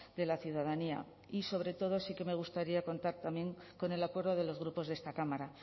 de la ciudadanía y sobre todo sí que me gustaría contar también con el acuerdo de los grupos de esta cámara